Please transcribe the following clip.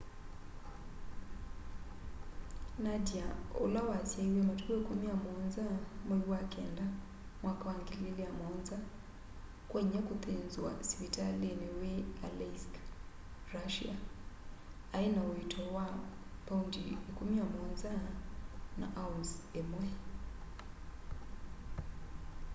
nadia ula wasyaiwe matuku 17 mwai wa kenda mwaka wa 2007 kwa inya kuthinzwa sivitalini wi aleisk russia aina uito wa pound 17 na ounce imwe